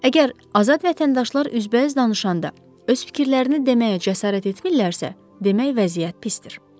Əgər azad vətəndaşlar üzbəüz danışanda öz fikirlərini deməyə cəsarət etmirlərsə, demək vəziyyət pisdir.